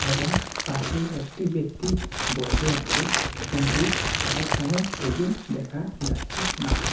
এবং পাশেই একটি ব্যক্তি বসে আছে কিন্তু তার কোনো ছবি দেখা যাচ্ছে না।